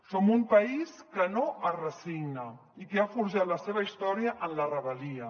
som un país que no es resigna i que ha forjat la seva història en la rebel·lia